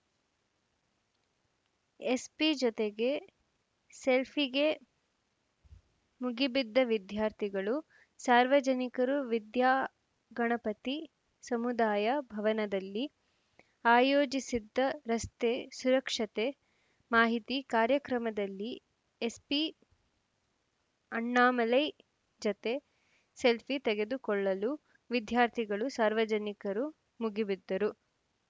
SP ಜೊತೆಗೆ ಸೆಲ್ಫಿಗೆ ಮುಗಿಬಿದ್ದ ವಿದ್ಯಾರ್ಥಿಗಳು ಸಾರ್ವಜನಿಕರು ವಿದ್ಯಾ ಗಣಪತಿ ಸಮುದಾಯ ಭವನದಲ್ಲಿ ಆಯೋಜಿಸಿದ್ದ ರಸ್ತೆ ಸುರಕ್ಷತೆ ಮಾಹಿತಿ ಕಾರ್ಯಕ್ರಮದಲ್ಲಿ ಎಸ್ಪಿ ಅಣ್ಣಾಮಲೈ ಜತೆ ಸೆಲ್ಫಿ ತೆಗೆದುಕೊಳ್ಳಲು ವಿದ್ಯಾರ್ಥಿಗಳು ಸಾರ್ವಜನಿಕರು ಮುಗಿಬಿದ್ದರು